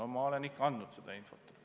No ma olen siis ikka andnud seda infot.